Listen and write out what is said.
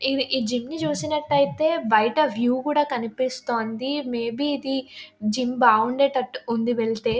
ఈ జిమ్ ని చూసినట్టయితే బయట వ్యూ కూడా కనిపిస్తుంది. మే బి ఇది జిమ్ బావుండేటట్టు ఉంది వెళ్తే.